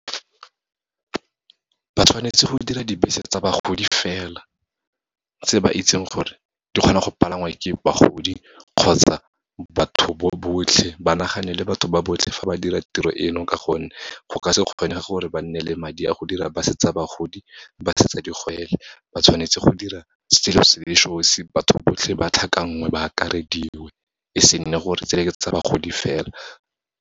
Ba tshwanetse go dira dibese tsa bagodi fela, tse ba itseng gore di kgona go palangwa ke bagodi kgotsa batho bo botlhe, ba naganele batho ba botlhe, fa ba dira tiro eno, ka gonne go ka se kgonege gore ba nne le madi a go dira bus-e tsa bagodi, bus-e tsa digwele. Ba tshwanetse go dira selo se le sosi, batho botlhe ba tlhakanngwe, ba akarediwe, e se nne gore tse le ke tsa bagodi fela.